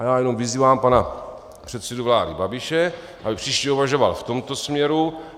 A já jenom vyzývám pana předsedu vlády Babiše, aby příště uvažoval v tomto směru.